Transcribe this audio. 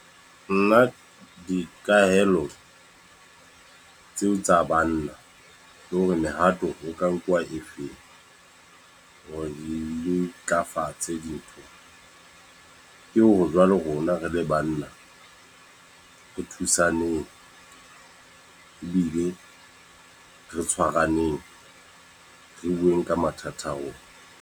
Nna dikahelo, tseo tsa banna. Le hore mehato o ka nkuwa e feng, hore re ntlafatse dintho. Ke hore jwale rona re le banna, re thusaneng ebile re tshwaraneng. Re buwe ka mathata a rona.